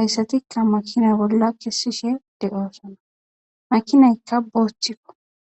hesatika makina bolla kesishe de'osona makinayka bothuko